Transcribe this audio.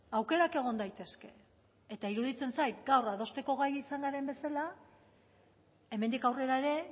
aukerak egon daitezke eta iruditzen zait gaur adosteko gai izan garen bezala hemendik aurrera ere